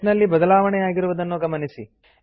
text ನಲ್ಲಿ ಬದಲಾವಣೆಯಾಗಿರುವುದನ್ನು ಗಮನಿಸಿ